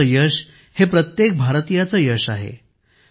भारताचे यश हे प्रत्येक भारतीयाचे यश आहे